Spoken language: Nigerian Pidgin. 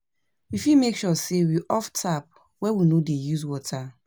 we fit make sure sey we off tap when we no dey use water